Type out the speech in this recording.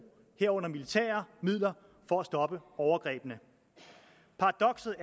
herunder militære midler for at stoppe overgrebene paradokset